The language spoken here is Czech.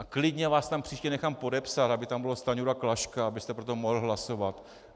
A klidně vás tam příště nechám podepsat, aby tam bylo Stanjura, Klaška, abyste pro to mohl hlasovat.